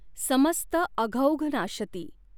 समस्त अघौघ नाशती।